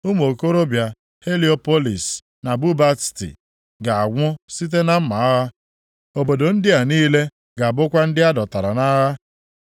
Ụmụ okorobịa Heliopolis na Bubasti ga-anwụ site na mma agha. Obodo ndị a niile ga-abụkwa ndị a dọtara nʼagha.